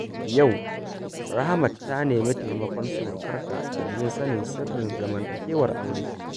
Yau, Rahmat za ta nemi taimakon surukarta domin sanin sirrin zamantakewar aure.